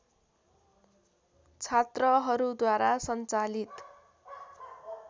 छात्रहरूद्वारा सञ्चालित